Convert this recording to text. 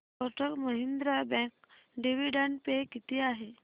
Kotak Mahindra bank dividend pay किती आहे